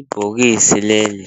Ibhokisi leli